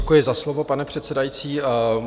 Děkuji za slovo, pane předsedající.